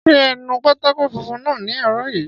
Ṣé ẹ nu pátákó funfun náà ní àárọ̀ yìí